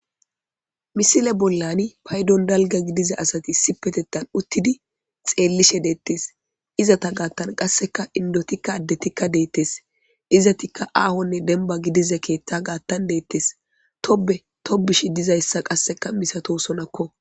Misile bollani paydon dalga gidiza asati si petettan uttidi xeellishe deettes izata gaattan qasseka indotikka addetikka deettes izatikka aahonne denba gidize keetta gaattan deettes tobe tobushi dizayssa qasseka misatosonakko.